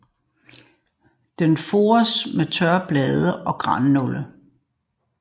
Den fores med tørre blade eller grannåle